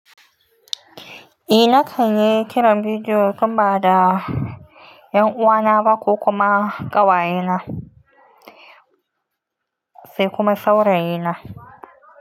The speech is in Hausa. Eh, na kanyi kiran bidiyo tun bada 'yan uwana ba ko kuma ƙawayena sai kuma saurayina.